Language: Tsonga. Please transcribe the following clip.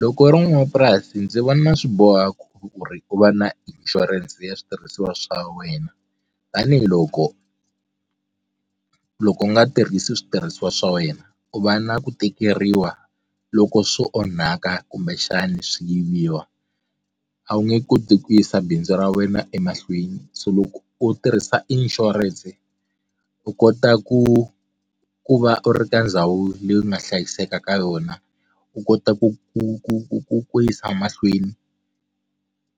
Loko u ri n'wamapurasi ndzi vona swi boha ku ri u va na inshurense ya switirhisiwa swa wena tanihiloko loko u nga tirhisi switirhisiwa swa wena u va na ku tikeriwa loko swo onhaka kumbexani swi yiviwa a wu nge koti ku yisa bindzu ra wena emahlweni so loko u tirhisa insurance u kota ku ku va u ri ka ndhawu leyi nga hlayiseka ka yona u kota ku ku ku ku ku ku yisa mahlweni